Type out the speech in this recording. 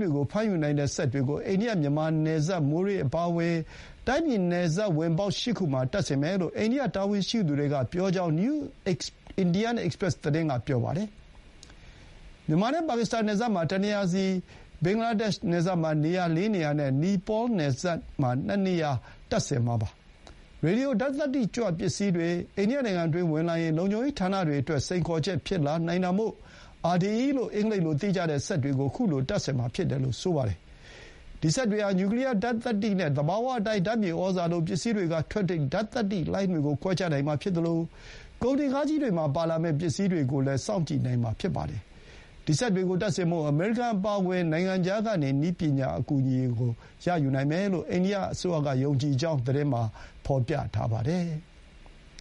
တွေကို ဖမ်းယူနိုင်တဲ့ စက်တွေကို အိန္ဒိယ-မြန်မာနယ်စပ် မိုးရေးအပါအဝင် တိုင်းပြည်နယ်စပ်ဝင်ပေါက် ၈ ခုမှာ တပ်ဆင်မယ်လို့ အိန္ဒိယတာဝန်ရှိသူတွေက ပြောကြောင်း နယူး အိန္ဒိယ အိပ်စ်ပရက်စ် (New Indian Express) သတင်းက ပြောပါတယ်။ မြန်မာနဲ့ ပါကစ္စတန်နယ်စပ်မှာ တနေရာစီ၊ ဘင်္ဂလားဒေ့ရှ်နယ်စပ်မှာ ၄ နေရာနဲ့ နီပေါနယ်စပ် ၂ နေရာမှာ တပ်ဆင်မှာပါ။ ရေဒီယို ဓာတ်သတ္တိကြွပစ္စည်းတွေ အိန္ဒိယနိုင်ငံတွင်းဝင်လာရင် လုံခြုံရေးဌာနတွေအတွက် စိန်ခေါ်ချက်ဖြစ်လာနိုင်တာမို့ RDE လို့ အင်္ဂလိပ်လိုသိကြတဲ့စက်တွေကို ခုလိုတပ်ဆင်မှာ ဖြစ်တယ်လို့ ဆိုပါတယ်။ ဒီစက်တွေဟာ နျူကလီယာဓာတ်သတ္တိနဲ့ သဘာဝအတိုင်း ဓာတ်မြေဩဇာလို ပစ္စည်းတွေကထွက်တဲ့ ဓာတ်သတ္တိလှိုင်းတွေကို ခွဲခြားနိုင်မှာဖြစ်သလို ကုန်တင်ကားကြီးတွေမှာပါလာမယ့် ပစ္စည်းတွေကိုလည်း စောင့်ကြည့်နိုင်မှာ ဖြစ်ပါတယ်။ ဒီ စက်တွေကိုတပ်ဆင်ဖို့ အမေရိကန်အပါအဝင် နိုင်ငံခြားကနေ နည်းပညာအကူအညီကို ရယူနိုင်မယ်လို့ အိန္ဒိယအစိုးရကယုံကြည်ကြောင်း သတင်းမှာ ဖော်ပြထားပါတယ်။